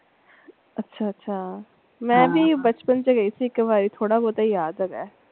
ਅੱਛਾ ਅੱਛਾ ਮੈ ਵੀ ਬਚਪਨ ਚ ਸੀ ਗਈ ਥੀ ਇਕ ਵਾਰੀ ਥੋੜਾ ਬਹੁਤ ਯਾਦ ਹੇਗਾ।